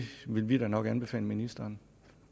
vil vi da nok anbefale ministeren